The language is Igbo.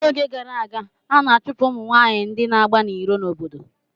N'oge gara aga a na-achụpụ ụmụ nwanyị ndị na-agba n'iro n'obodo